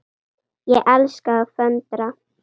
Ég elska að föndra.